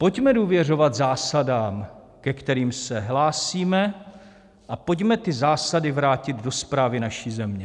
Pojďme důvěřovat zásadám, ke kterým se hlásíme, a pojďme ty zásady vrátit do správy naší země.